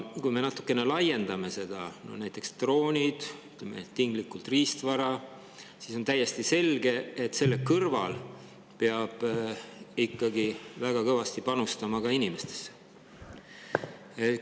Kui me natukene laiendame seda näiteks ka droonidele või, ütleme, tinglikult riistvarale, siis on samas täiesti selge, et selle kõrval peab ikkagi väga kõvasti panustama ka inimestesse.